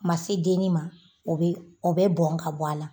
Ma se dennin ma o be bɛ bɔn ka bɔ a la